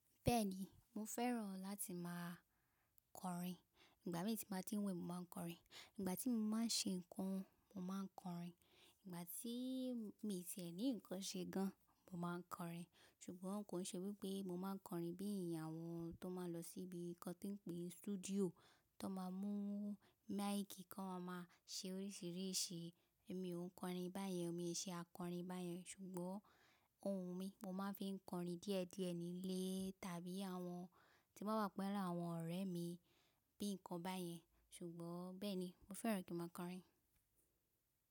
Bẹ́ẹ̀ni, mo fẹ́ràn láti máa kọrin. Ìgbà mí tí màá ti ń wẹ̀ mó máa ń kọrin, ìgbà tí mó máa ń ṣe ǹkan mó máa ń kọrin, ìgbà tí mi tì ẹ̀ ní ǹkan ṣe gan mó máa kọrin. Ṣùgbọ́n kò ṣe wípé mó máa ń kọrin bí àwọn tó máa ń lọ síbi kí wón tó pè studio tó máa ń mú máíkì kí wón máa má ṣe oríṣiríṣi. Èmi ò ń kọrin báyẹn, mìí ń ṣe akọrin bá yẹn. Ṣùgbọ́n ohùn mí, mó máa ń fi kọrin díẹ̀díẹ̀ ní ilé tàbí àwọn tí bá wà pẹ̀lú àwọn ọ̀rẹ́ mi bíi ǹkan bá yẹn. Ṣùgbọ́n bẹ́ẹ̀ ni, mo fẹ́ràn kí ń máa kọrin.